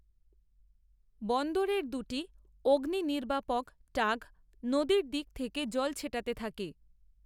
বন্দরের দুটি অগ্নি নির্বাপক, টাগ, নদীর দিক থেকে জল ছেটাতে থাকে